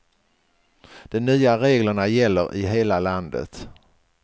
De nya reglerna gäller i hela landet.